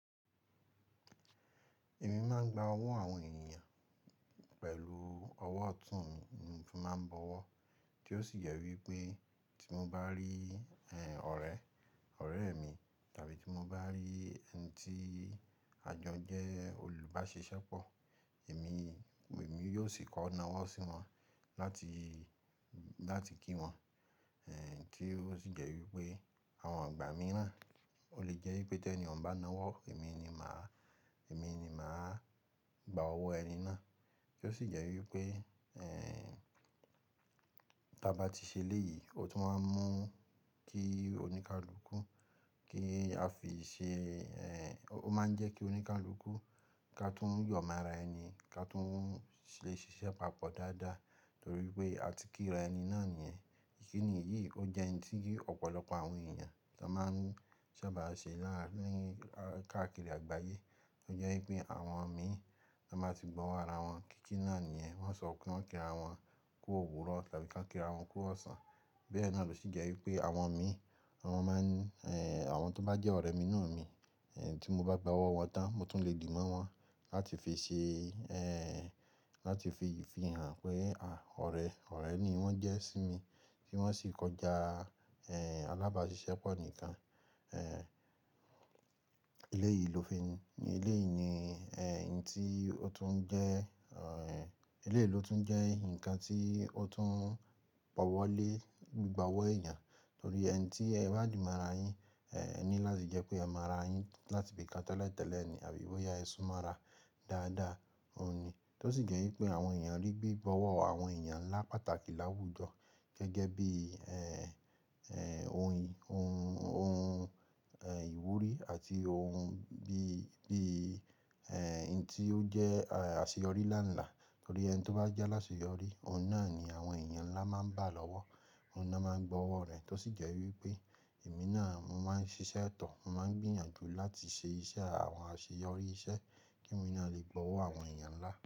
Èmi máa ń gba ọwọ́ àwọn ènìyàn pẹ̀lú ọwọ́ ọ̀tún mi ni mo fi máa ń bọwọ́, tí ó sì jẹ́ wípé tí mo bá rí ọ̀rẹ́, ọ̀rẹ́ mi tàbí tí mo bá rí ẹni tí a jo jẹ́ olùbáṣisepọ̀, èmi, èmi yóò sì kọ náwọ́ sí wọn láti, láti kí wọn. Ẹ̀ tí ó sì jẹ́ wípé àwọn ìgbà mìíràn o lè jẹ́ wípé tí ẹni ò ń bá náwọ́, èmi ni màá, èmi ni màá gbá owó ẹni náà. Tí ó sì jẹ́ wípé, tí a bá ti ṣe léyìí, ó tún wá ń mú kí oníkálukú kí a fi ṣe, ẹ́ ó máa ń jẹ́ kí oníkálukú ká tún yọ̀ mára ẹni, ká tún lè ṣiṣẹ́ papọ̀ dáadáa torí pé a ti kí ra ẹni náà nìyẹn. Ikini èyí, ó jẹ́ ohun tí ọ̀pọ̀lọpọ̀ àwọn ènìyàn tó máa ń ṣa bá ṣe láàárín ni káàkiri àgbáyé. Ó jẹ́ wípé àwọn mi tí wọ́n bá ti gbọwọ́ ara wọn, kíkí náà nìyẹn, wọ́n sọ kun kí ra wọn kú òwúrọ̀ tàbí kí ra wọn kú ọ̀sán. Bẹ́ẹ̀ náà ló sì jẹ́ wípé àwọn mi, àwọn máa ń, ẹ́ àwọn tó bá jẹ́ ọ̀rẹ́ mi nù mí, ẹ́ tí mo bá gbọwọ́ wọn tán, mo tún lè dìbọ̀ wọ́n láti fi ṣe, ẹ́ láti fi hàn pé à ọ̀rẹ́, ọ̀rẹ́ ni wọ́n jẹ́ sí mi kí wọ́n sì kọjá, ẹ́ alábáṣiṣẹ́pọ̀ nìkan. Ẹ́ eléyìí ló fi, eléyìí ni ẹ́ n tí ó tún jẹ́, ẹ́ eléyìí ló tún jẹ́ nǹkan tí ó tún bọwọ́ lé gbígbọwọ́ eyàn. Torí ẹni tí ẹ bá dìmo ara yín, ó ní láti jẹ́ pé ẹ mora yín láti ibi kán tẹ́lẹ̀ tẹ́lẹ̀ ni àbí bó ya ẹ́ súnmọ́ ara dáadáa, òun ni. Tó sì jẹ́ wípé àwọn ènìyàn rí gbígbọwọ́ àwọn ènìyàn ńlá pàtàkì láwùjọ gẹ́gẹ́ bí, ẹ́ ẹ́ ohun, ohun, ohun, ẹ́ ìwúrí àti ohun bí, bí ẹ́ nhun tí ó jẹ́ aseyorí lánlàá. Torí ẹni tí ó bá jẹ́ lásẹyọrí, òun náà ni àwọn ènìyàn ńlá máa ń bá lọ́wọ́, òun náà máa ń gbọwọ́ rẹ̀ tó sì jẹ́ wípé èmi náà mo máa ń ṣiṣẹ́ tọ̀, mo máa ń gbìyànjú láti ṣe iṣẹ́ àwọn aṣeyọrí iṣẹ́ kí èmi náà lè gbọwọ́ àwọn ènìyàn ńlá.